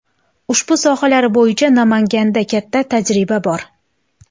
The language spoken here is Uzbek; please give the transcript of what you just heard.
Ushbu sohalar bo‘yicha Namanganda katta tajriba bor.